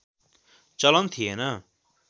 चलन थिएन